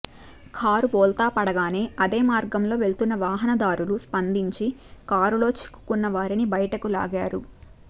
car బోల్తా పడగానే అదే మార్గంలో వెళ్తున్న వాహనదారులు స్పందించి కారులో చిక్కుకున్న వారిని బయటకు లాగారు